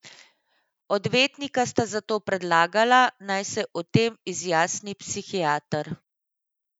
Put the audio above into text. Odvetnika sta zato predlagala, naj se o tem izjasni psihiater.